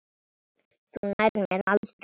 Þú nærð mér aldrei!